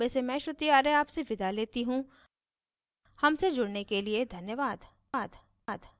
I I T Bombay से मैं श्रुति आर्य आपसे विदा लेती हूँ हमसे जुड़ने के लिए धन्यवाद